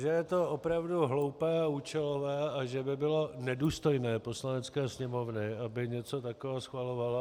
Že je to opravdu hloupé a účelové a že by bylo nedůstojné Poslanecké sněmovny, aby něco takového schvalovala.